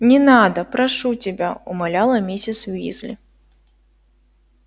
не надо прошу тебя умоляла миссис уизли